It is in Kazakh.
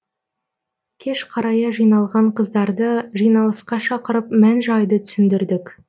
кеш қарая жиналған қыздарды жиналысқа шақырып мән жайды түсіндірдік